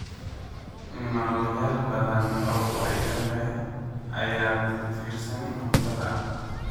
Noolayaal badan oo faa'iido leh ayaa ku tiirsan cuntada.